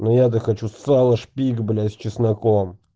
но я-то хочу сала шпик блять с чесноком